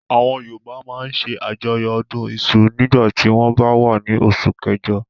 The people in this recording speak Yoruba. Àwọn Yorùbá máa ń ṣe àjọyọ̀ ọdún iṣu nígbà tí wọ́n bá wà á ní oṣù kẹjọ.